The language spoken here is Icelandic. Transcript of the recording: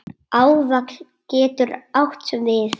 Áfall getur átt við